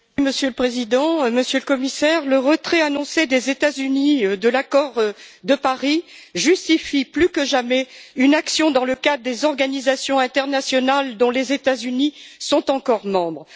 Monsieur le Président, Monsieur le Commissaire, le retrait annoncé des États Unis de l'accord de Paris justifie plus que jamais une action dans le cadre des organisations internationales dont les États Unis sont encore membres.